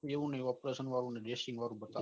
એવું ની operation વાળું નહિ dressing વાળું બતાવે છે